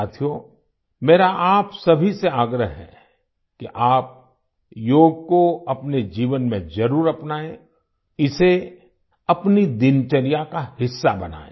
साथियो मेरा आप सभी से आग्रह है कि आप योग को अपने जीवन में जरुर अपनाएं इसे अपनी दिनचर्या का हिस्सा बनाएं